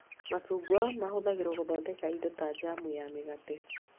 Macungwa mahũthagĩrwo gũthondeka indo ta jamu ya mĩgate